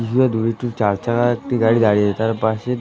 কিছুটা দূরে একটি চারচাকা একটি গাড়ি দাঁড়িয়ে রয়েছে তার পাশে ।